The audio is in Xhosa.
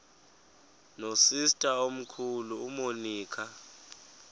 nosister omkhulu umonica